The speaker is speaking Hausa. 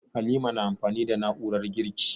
Halima na amfani da na'urar girki.